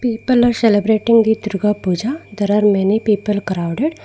people are celebrating durga puja there are many people crowded.